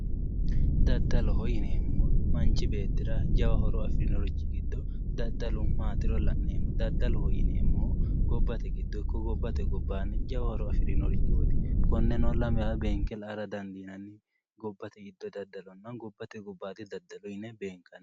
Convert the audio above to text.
Daddaloho yineemmohu manchi beetti jawa horo afirinorchi giddo daddalu matiro la'neemmo daddaloho yineemmohu gobbate giddo ikko gobbate gobbanni jawa horo afirinorchoti konne lamewa beenke la"a dandiineemmo yinnanni gobbate giddo daddalonna gobbate gobbadi daddalo yinne beenkanni.